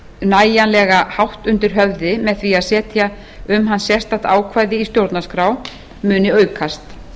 nægjanlega hátt undir höfði með því að setja um hann sérstakt ákvæði í stjórnarskrá muni aukast